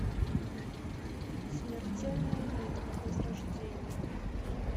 смертельная битва возрождение